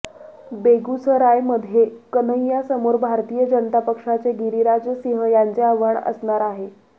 बेगूसरायमध्ये कन्हैयासमोर भारतीय जनता पक्षाचे गिरिराज सिंह यांचे आव्हान असणार आहे